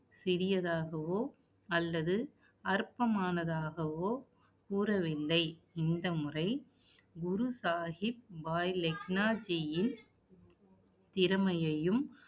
சிறியதாகவோ, அல்லது அற்பமானதாகவோ கூறவில்லை. இந்த முறை, குரு சாகிப் பாய் லெக்னாஜியின் திறமையையும்